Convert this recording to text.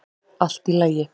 Allt í lagi.